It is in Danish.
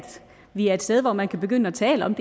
vi er et sted hvor man kan begynde at tale om